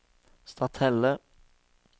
Stathelle